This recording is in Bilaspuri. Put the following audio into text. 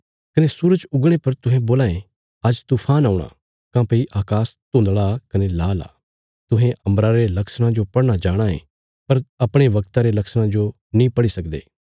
कने सूरज उगणे पर तुहें बोलां ये आज तूफान औणा काँह्भई अकाश धुंधला कने लाल आ तुहें अम्बरा रे लक्षणां जो पढ़ना जाणाँ ये पर अपणे बगता रे लक्षणां जो नीं पढ़ी सकदे